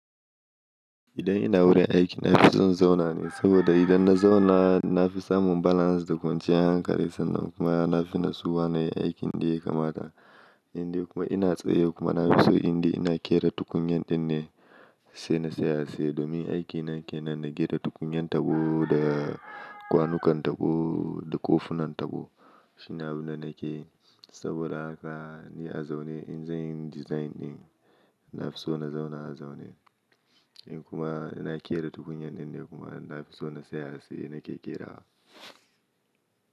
Idan ina wurin aiki, na fi son zauna ne saboda idan na zauna na fi samun balance da kwanciyar hankali sannan kuma na fi natsuwa na yi aikin da ya kamata. Indai kuma ina tsaye kuma na fi so indai ina kera tukunyan ɗin ne sai na saya sai domin aikin na ke nan na gera tukunyan tabo da kwanukan tabo da kofunan tabo. Shi na bu na ke saboda haka ni a zaune in zanyi design ɗin na fi so na zauna a zaune. In kuma ina kera tukunyan ɗin ne kuma na fi so na tsaye nake kerawa.